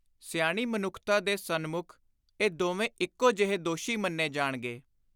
ਸਿਆਣੀ ਮਨੁੱਖਤਾ ਦੇ ਸਨਮੁੱਖ ਇਹ ਦੋਵੇਂ ਇਕੋ ਜਿਹੇ ਦੋਸ਼ੀ ਮੰਨੇ ਜਾਣਗੇ।